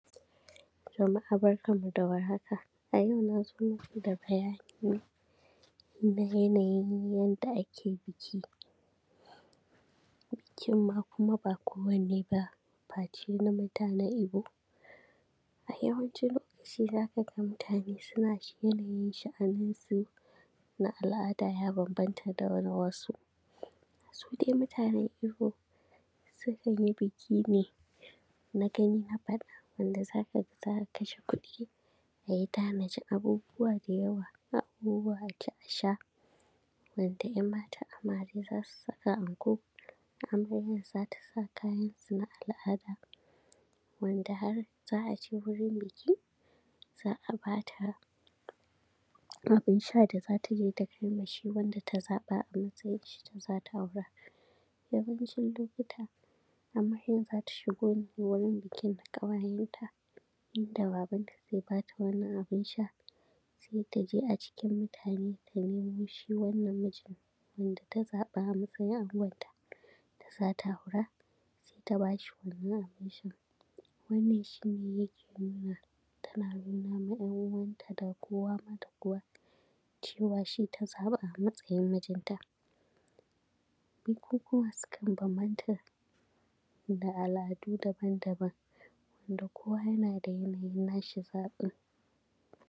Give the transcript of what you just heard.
A yau na zo maku da bayani ne na yanayin yadda ake biki, bikin ma kuma ba kowane ba face na Igbo, A yawancin lokaci za ka ga mutane suna yanayin sha’aninsu na al’ada ya bambanta da na wasu, Su dai mutanen Igbo sukan yi biki ne na gani na faɗa wanda za ka ga za a kashe kuɗi a yi tanajin abubuwa da yawa, abubuwa a ci a sha, wanda ‘yan matan amare za su saka anko amaryan za ta sa kayansu na al’ada, wanda har za a je wurin biki, za a bata abin sha da za ta je ta kai ma shi wanda ta zaɓa a matsayin shi ne za ta aura, yawancin lokuta amaryan za ta shigo wurin bikin da ƙawayenta, Inda Babanta zai ba ta wani abin sha sai ta je a cikin mutane ta nemo shi wannan mijin wanda ta zaɓa a matsayin angonta da za ta aura, sai ta ba shi wannan abin shan, Wannan shi ne yake nuna tana nuna ma ‘yan uwanta da kowa ma da kowa cewa shi ta zaɓa a matsayin mijinta, Bukukuwa sukan bambanta da al’adu daban-daban wanda kowa yana da yanayin na shi zaɓin,